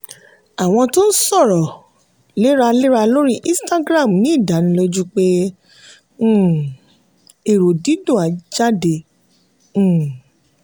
àwọn tó ń sọ̀rọ̀ léraléra lórí instagram ní ìdánilójú pé um èrò dídùn á jáde. um